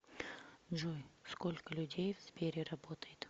джой сколько людей в сбере работает